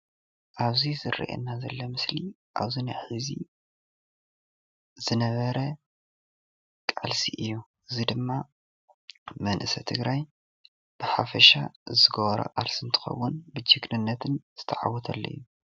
ኣብዚ ዝርአየና ዘሎ ምስሊ ኣብዚ ናይ ሐዚ ዝነበረ ቃልሲ እዩ። እዙይ ድማ መንእሰይ ትግራይ ብሓፈሻ ዝገበሮ ቃልሲ እንትኸውን ብጅግንነት ዝተዓወተሉ እዩ።